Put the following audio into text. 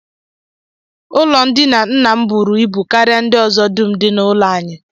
Ụlọndina nna m buru ibu karịa ndị ọzọ dum dị n'ụlọ anyị